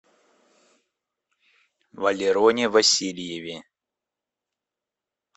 валероне васильеве